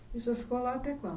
E o senhor ficou lá até quando?